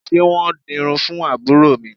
Ṣé wọn ń dirun fún àbúrò mi?